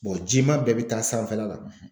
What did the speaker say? jima bɛɛ bɛ taa sanfɛla la.